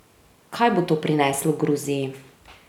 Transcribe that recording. Kaj bo to prineslo Gruziji?